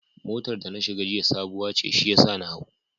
Motar da na shiga jiya sabuwa ce shiyasa na hau.